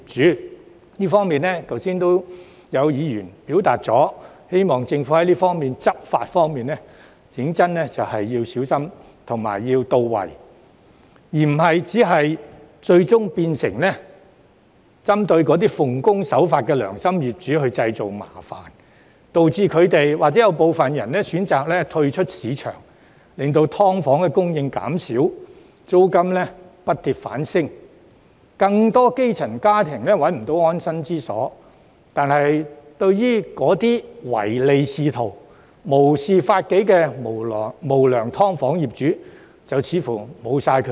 在這方面，剛才已有議員表示希望政府的執法工作小心、到位，而不會最終變成針對奉公守法的良心業主製造麻煩，導致部分業主選擇退出市場，令"劏房"供應減少，租金不跌反升，更多基層家庭找不到安身之所，但對於那些唯利是圖、無視法紀的無良"劏房"業主卻無計可施。